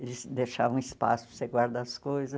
Eles deixavam espaço para você guardar as coisas.